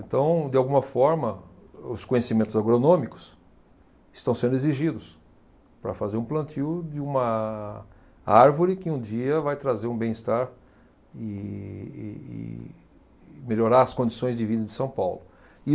Então, de alguma forma, os conhecimentos agronômicos estão sendo exigidos para fazer um plantio de uma árvore que um dia vai trazer um bem-estar e, e, e melhorar as condições de vida de São Paulo.